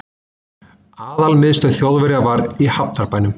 Aðalmiðstöð Þjóðverja var í hafnarbænum